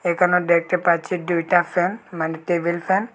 এখানে দেখতে পাচ্চি দুইটা ফ্যান মানে টেবিল ফ্যান ।